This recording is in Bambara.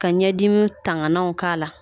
Ka ɲɛdimi tangananw k'a la